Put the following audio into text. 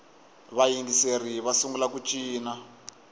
vayingiseri va sungula ku cina